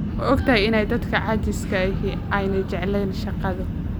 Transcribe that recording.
Ma ogtahay in dadka caajiska ahi aanay jeclayn shaqada